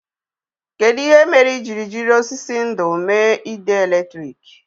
Kedụ ihe mere i jiri jiri osisi ndú mee ide èlétrị̀k?